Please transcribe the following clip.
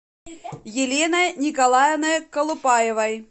еленой николаевной колупаевой